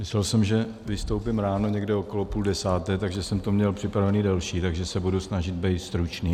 Myslel jsem, že vystoupím ráno někdy okolo půl desáté, takže jsem to měl připravené delší, takže se budu snažit být stručný.